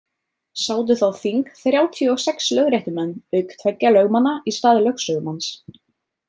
Sátu þá þing þrjátíu og sex lögréttumenn auk tveggja lögmanna í stað lögsögumanns.